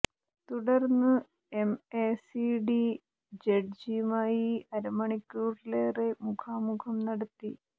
തുടര്ന്നു M A C T ജഡ്ജി യുമായി അര മണിക്കൂറിലേറെ മുഖാമുഖം നടത്തി